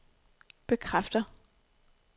bekræfter